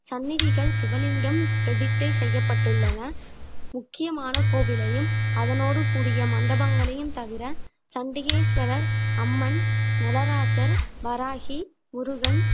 சந்நிதிகள் சிவலிங்கம் பிரதிஷ்டை செய்யப்பட்டுள்ளன முக்கியமான கோவிலையும் அதனோடு கூடிய மண்டபங்களையும் தவிர சண்டிகேஸ்வரர் அம்மன் நளராசர் வராகி முருகன்